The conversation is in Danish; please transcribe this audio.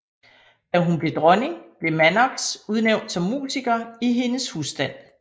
Da hun blev dronning blev Mannox udnævnt som musiker i hendes husstand